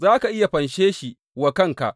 Za ka iya fanshe shi wa kanka.